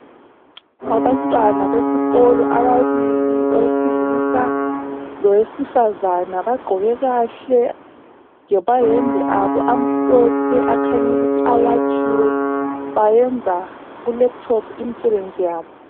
Abantwana besikolo ababili, owesilisa lowesifazana bagqoke kahle, lamayembe abo amhlophe akhuny'ukuthi awatshiwe. Bayenza kulephuthophu imsebenzi yabo.